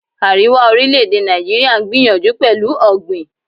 Àríwá orílè-èdè Nàìjíríà ń gbìyànjú pẹ̀lú ọ̀gbìn.